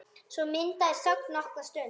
Svo myndast þögn nokkra stund.